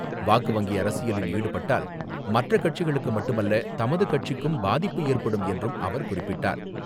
வாக்கு வங்கி அரசியலில் ஈடுபட்டால் மற்ற கட்சிகளுக்கு மட்டுமல்ல தமது கட்சிக்கும் பாதிப்பு ஏற்படும் என்றும் அவர் குறிப்பிட்டார்.